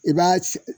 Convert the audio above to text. I b'a